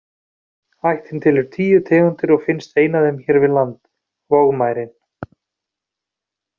Ættin telur tíu tegundir og finnst ein af þeim hér við land, vogmærin.